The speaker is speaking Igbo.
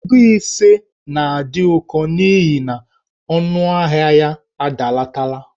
Ego ise na-adị ụkọ n'ihi na ọnụahịa ya adalatala.